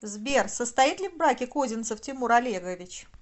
сбер состоит ли в браке козинцев тимур олегович